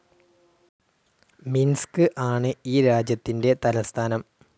Minsk ആണ് ഈ രാജ്യത്തിന്റെ തലസ്ഥാനം.